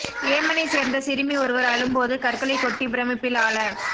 யேமனைச் சேர்ந்த சிறுமி ஒருவர் அழும் போது கற்களை கொட்டி பிரமிப்பில் ஆழ